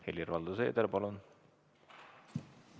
Helir-Valdor Seeder, palun!